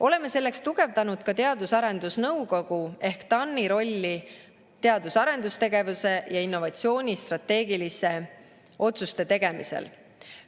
Oleme selleks tugevdanud ka Teadus‑ ja Arendusnõukogu ehk TAN-i rolli teadus‑ ja arendustegevuse ja innovatsiooni strateegiliste otsuste tegemisel.